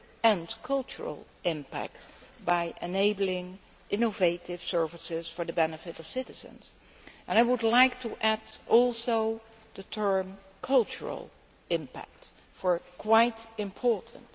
and cultural impact by enabling innovative services for the benefit of citizens. And I would like to add the term cultural' impact, as this is quite important.